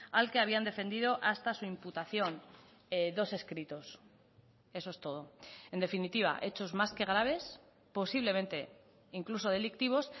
al que habían defendido hasta su imputación dos escritos eso es todo en definitiva hechos más que graves posiblemente incluso delictivos